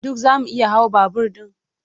Duk zamu iya hawa babur ɗin?